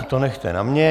To nechte na mně.